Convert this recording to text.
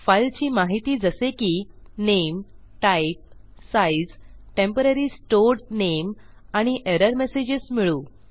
फाईलची माहिती जसे की नामे टाइप साइझ टेम्पोररी स्टोर्ड नामे आणि एरर मेसेजेस मिळवू